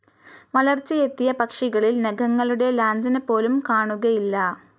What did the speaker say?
വളർച്ചയെത്തിയ പക്ഷികളിൽ നഖങ്ങളുടെ ലാഞ്ചനപോലും കാണുകയില്ല.